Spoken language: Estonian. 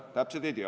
Täpselt ei tea.